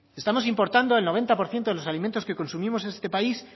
estamos importando el noventa por ciento de los alimentos que consumimos en este país